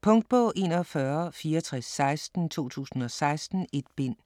Punktbog 416416 2016. 1 bind.